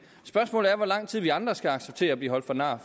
spørgsmålet er hvor lang tid vi andre skal acceptere at blive holdt for nar